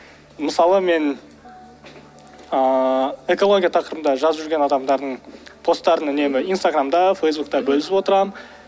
мысалы мен ыыы экология тақырыбында жазып жүрген адамдардың посттарын үнемі инстаграмда фейсбукта бөлісіп отырамын